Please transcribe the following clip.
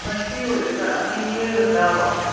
minute ਈ ਹੋਏ ਭੈਣਾਂ ਕੀ ਇਹ ਰੱਟਾ ਵਾ